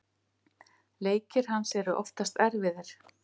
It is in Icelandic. Leikir hans eru oftast erfiðir.